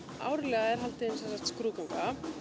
árlega er haldin sem sagt skrúðganga